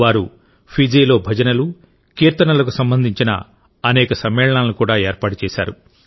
వారు ఫిజీలో భజనలు కీర్తనలకు సంబంధించిన అనేక సమ్మేళనాలను కూడా ఏర్పాటు చేశారు